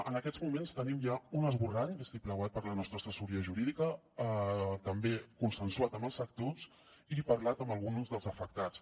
en aquests moments tenim ja un esborrany vistiplauat per la nostra assessoria jurídica també consensuat amb els sectors i parlat amb alguns dels afectats